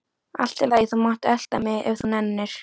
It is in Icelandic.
Allt í lagi, þú mátt elta mig ef þú nennir.